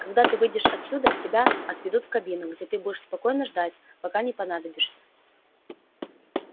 когда ты выйдешь отсюда тебя отведут в кабину где ты будешь спокойно ждать пока не понадобишься